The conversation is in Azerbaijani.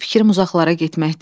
Fikrim uzaqlara getməkdir.